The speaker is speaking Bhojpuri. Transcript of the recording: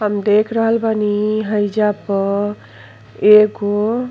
हम देख रहल बानी हाईजा प एगो --